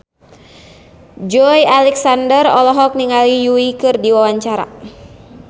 Joey Alexander olohok ningali Yui keur diwawancara